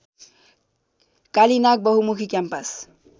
कालीनाग बहुमुखी क्याम्पस